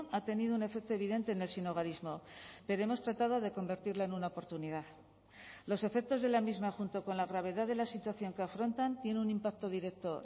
ha tenido un efecto evidente en el sinhogarismo pero hemos tratado de convertirla en una oportunidad los efectos de la misma junto con la gravedad de la situación que afrontan tiene un impacto directo